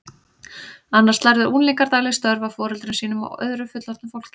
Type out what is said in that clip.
Annars lærðu unglingar dagleg störf af foreldrum sínum og öðru fullorðnu fólki.